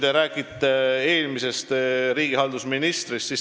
Te rääkisite eelmisest riigihalduse ministrist.